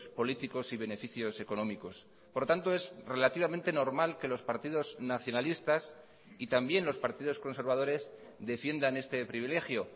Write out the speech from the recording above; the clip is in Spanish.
políticos y beneficios económicos por tanto es relativamente normal que los partidos nacionalistas y también los partidos conservadores defiendan este privilegio